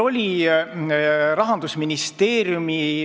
Aitäh!